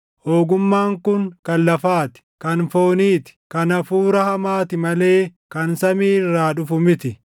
Ogummaan kun kan lafaa ti; kan foonii ti; kan hafuura hamaati malee kan samii irraa dhufu miti.